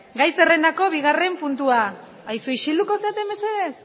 aizue isilduko zarete mesedez